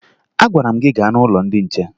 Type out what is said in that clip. Agwara m gị gaa n'ụlọ ndị nche!